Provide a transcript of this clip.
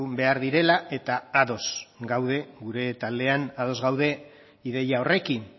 behar direla eta ados gaude gure taldean ados gaude ideia horrekin